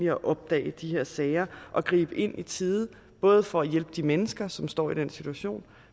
at opdage de her sager og gribe ind i tide både for at hjælpe de mennesker som står i den situation